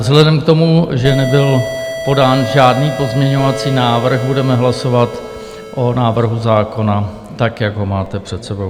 Vzhledem k tomu, že nebyl podán žádný pozměňovací návrh, budeme hlasovat o návrhu zákona tak, jak ho máte před sebou.